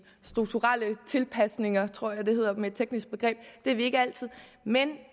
strukturelle tilpasninger tror jeg det hedder med et teknisk begreb det er vi ikke altid men